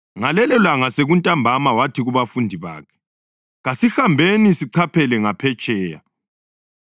Ngalelolanga sekuntambama wathi kubafundi bakhe, “Kasihambeni sichaphele ngaphetsheya.”